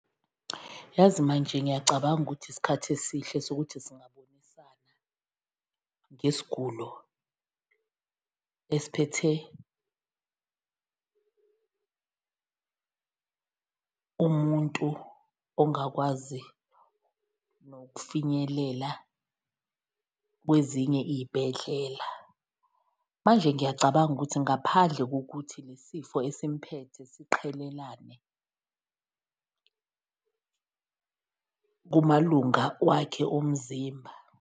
Yazi manje ngiyacabanga ukuthi isikhathi esihle sokuthi singabonisana ngesigulo esiphethe umuntu ongakwazi nokufinyelela kwezinye iyibhedlela. Manje ngiyacabanga ukuthi ngaphandle kokuthi le sifo esimphethe siqhelelane kumalunga wakhe omzimba.